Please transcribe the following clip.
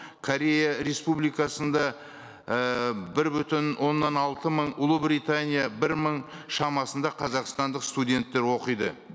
корея республикасында ііі бір бүтін оннан алты мың ұлыбритания бір мың шамасында қазақстандық студенттер оқиды